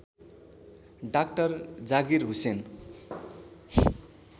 doctor Zakir Hussain